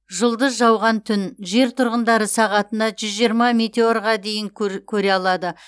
жұлдыз жауған түн жер тұрғындары сағатына жүз жиырма метеорға дейін көре алады